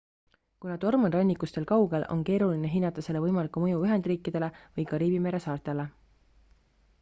kuna torm on rannikust veel kaugel on keeruline hinnata selle võimalikku mõju ühendriikidele või kariibi mere saartele